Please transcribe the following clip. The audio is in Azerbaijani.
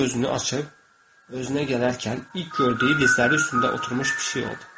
O gözünü açıb özünə gələrkən ilk gördüyü dizləri üstündə oturmuş pişik oldu.